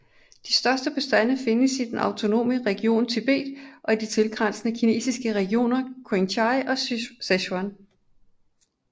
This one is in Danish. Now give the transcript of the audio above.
De største bestande findes i den autonome region Tibet og de tilgrænsende kinesiske regioner Qinghai og Sichuan